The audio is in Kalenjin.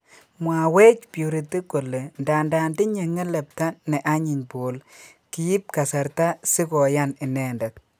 Mwawech purity kole ndandan tinye ngelepta ne anyiny paul kiip kasarta si koyan inendet.